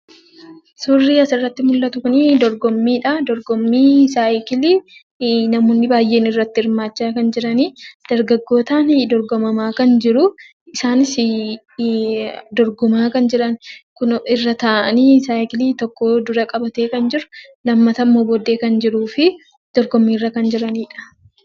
Suurri as irratti argamu kun dorgommii biskileetii dha. Akkasumas namoonni baayyeen irratti hirmaachaa kan jiranii fi dargaggootaan dorgomamaa kan jiruu dha.